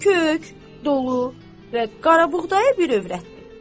Kök, dolu və qarabuğdayı bir övrətdir.